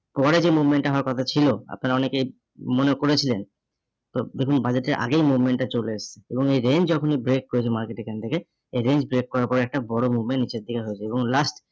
পরে যে movement টা হওয়ার কথা ছিল আপনারা অনেকেই মনে করেছিলেন তো দেখুন budget এর আগেই movement টা চলে এসছে এবং এই range যখনই break করেছে market এখান থেকে, এই range break করার পর একটা বড় movement নিচের দিকে হয়েছে এবং last